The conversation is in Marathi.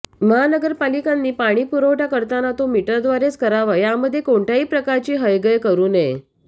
महानगरपालिकांनी पाणीपुरवठा करताना तो मीटरद्वारेच करावा यामध्ये कोणत्याही प्रकारची हयगय करू नये